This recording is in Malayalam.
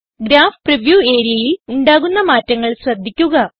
ഗ്രാഫ് പ്രിവ്യൂ areaയിൽ ഉണ്ടാകുന്ന മാറ്റങ്ങൾ ശ്രദ്ധിക്കുക